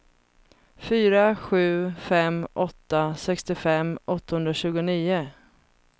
fyra sju fem åtta sextiofem åttahundratjugonio